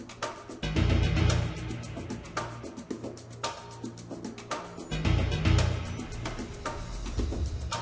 var